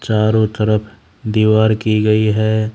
चारों तरफ दीवार की गई है।